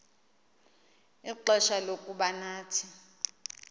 ixfsha lokuba nathi